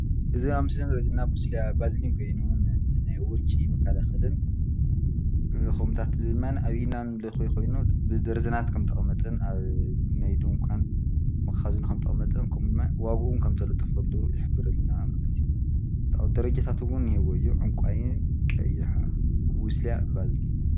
እዝ ኣምስለን ርዝና ብስልያ ባዝሊን ኮይኑን ናይውርቂ መካልኸልን ኽምታት ዝመን ኣብናን ለይዂይኾይኑ ብደርዝናት ከም ተቕመጥን ኣብነይዱንኳን መኻዙን ኸም ተቕመጥን ምማይ ዋጕኡኡን ከም ተለጠፈሉ የኅብርልና ማለቲ ክኣ ደረጀታትዉን ሕይወይ ዕንቋይን ቀይ ብስልያ ባዝሊ።